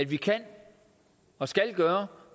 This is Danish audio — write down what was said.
vi kan og skal gøre